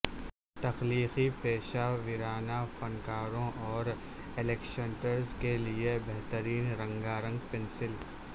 تخلیقی پیشہ ورانہ فنکاروں اور الیکشنٹرز کے لئے بہترین رنگا رنگ پنسل